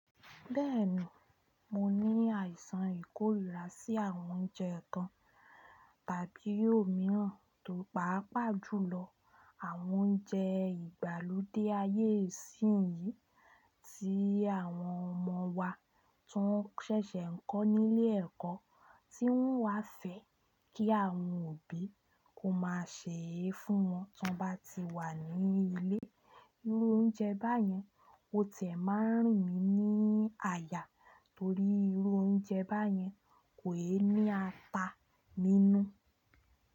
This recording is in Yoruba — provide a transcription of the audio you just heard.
Bẹ́ẹ̀ni, mo ní àìsàn ìkórìíra sí àwọn oúnjẹ kan tàbí ò míìràn tó pàápàá jùlọ àwọn oúnjẹ ìgbàlódé ayé yìí tí àwọn ọmọ wa tó ń ṣẹ̀ṣẹ̀ ń kọ́ nílé ẹ̀kọ́ tí wọ́n wá fẹ́ kí àwọn òbí kó máa sè é fún wọn tí wọ́n bá ti wà ní ilé. Irú oúnjẹ báyẹn ó ti máa ń rìn mí ní àyà torí irú oúnjẹ báyẹn kò è ní ata nínú.